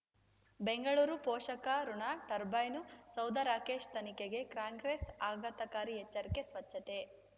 ಬೆಂಗಳೂರು ಪೋಷಕಋಣ ಟರ್ಬೈನು ಸೌಧ ರಾಕೇಶ್ ತನಿಖೆಗೆ ಕಾಂಗ್ರೆಸ್ ಆಘಾತಕಾರಿ ಎಚ್ಚರಿಕೆ ಸ್ವಚ್ಛತೆ